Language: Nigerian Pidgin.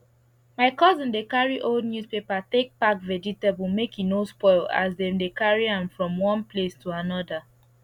my cousin dey carry old newspaper take pack vegetable make e no spoil as dem dey carry am from one place to another